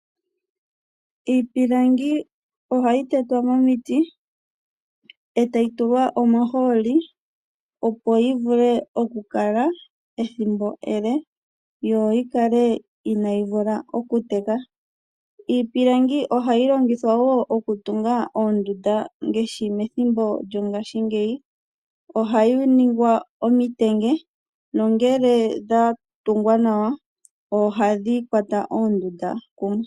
Iipilangi ohayi tetwa momiti etayi tulwa omahooli opo yivule okukala ethimbo ele yo yikale ina yivula okuteka, iipilangi ohayi longithwa woo okutunga oondunda ngeshi methimbo lyo ngashi ngeyi , ohayi ningwa omitenge nongele dhatungwa nawa ohadhi kwata oondunda kumwe.